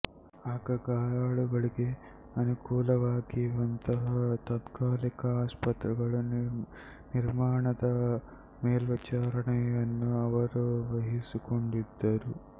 ಆಗ ಗಾಯಾಳುಗಳಿಗೆ ಅನುಕೂಲವಾಗುವಂತಹ ತಾತ್ಕಾಲಿಕ ಆಸ್ಪತ್ರೆಗಳ ನಿರ್ಮಾಣದ ಮೇಲ್ವಿಚಾರಣೆಯನ್ನೂ ಅವರು ವಹಿಸಿಕೊಂಡಿದ್ದರು